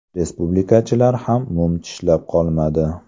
Respublikachilar ham mum tishlab qolmadi.